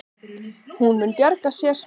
Hún mun bjarga sér.